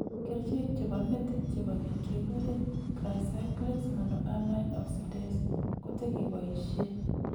Kercheek chebo metit chebo keny kekuree tricyclics monoamine oxidase kotekeboisyee